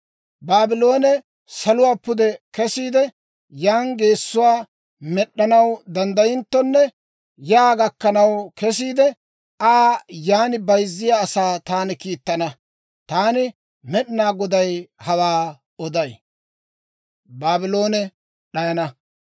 Baabloone saluwaa pude kesiide, yan geessuwaa med'd'anaw danddayinttonne, yaa gakkanaw kesiide, Aa yaan bayzziyaa asaa taani kiittana. Taani Med'inaa Goday hawaa oday.